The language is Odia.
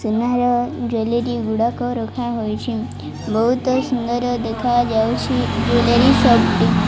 ସୁନାର ଜ୍ବେଲେରି ଗୁଡାକ ରଖା ହୋଇଛି ବହୁତ ସୁନ୍ଦର ଦେଖାଯାଉଛି ଜ୍ୱେଲେରି ସପ୍ ଟି।